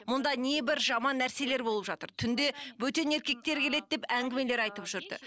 мұнда небір жаман нәрселер болып жатыр түнде бөтен еркектер келеді деп әңгімелер айтып жүрді